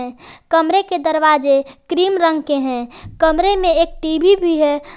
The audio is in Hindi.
कमरे के दरवाजे क्रीम रंग के है कमरे में एक टी_वी भी है ।